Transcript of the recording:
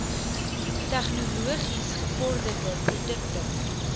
tegnologies gevorderde produkte